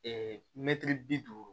mɛtiri bi duuru